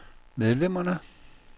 medlemmerne